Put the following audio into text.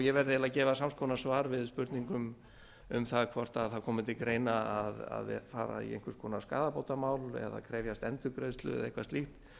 ég verð eiginlega að gefa sams konar svar við spurningum um hvort það komi til greina að fara í einhvers konar skaðabótamál eða krefjast endurgreiðslu eða eitthvað slíkt